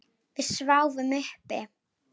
Við sváfum uppi.